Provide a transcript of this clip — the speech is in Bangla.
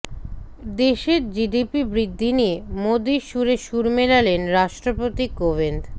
দেশের জিডিপি বৃদ্ধি নিয়ে মোদীর সুরে সুর মেলালেন রাষ্ট্রপতি কোবিন্দ